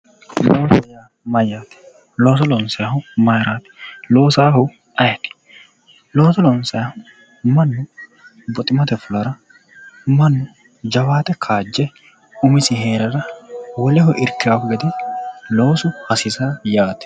Loosoho yaa mayyaate looso loonsayhu mayraati loosaahu ayeeti looso loonsayihu mannu buximate fulara mannu jawaate kaajje umisii heerara woleho ikkao gede loosu hasiisao yaate